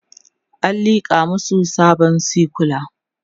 an liƙa masu sabon sikula